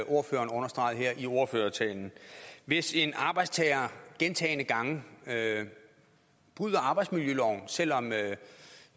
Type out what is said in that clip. ordføreren understregede her i ordførertalen hvis en arbejdstager gentagne gange bryder arbejdsmiljøloven selv om